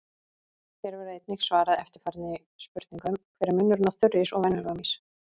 Hér verður einnig svarað eftirfarandi spurningum: Hver er munurinn á þurrís og venjulegum ís?